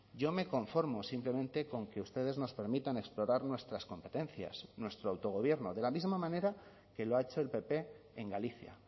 yo me conformo simplemente con que ustedes nos permitan explorar nuestras competencias nuestro autogobierno de la misma manera que lo ha hecho el pp en galicia